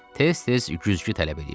Tez-tez güzgü tələb eləyirdi.